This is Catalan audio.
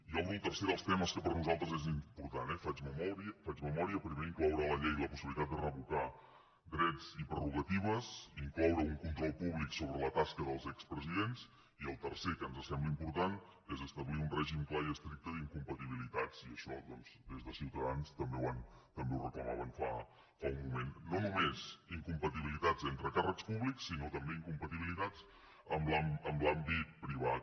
i obro el tercer dels temes que per nosaltres és important eh faig memòria primer incloure a la llei la possibilitat de revocar drets i prerrogatives incloure un control públic sobre la tasca dels expresidents i el tercer que ens sembla important és establir un règim clar i estricte d’incompatibilitats i això doncs des de ciutadans també ho reclamaven fa un moment no només incompatibilitats entre càrrecs públics sinó també incompatibilitats amb l’àmbit privat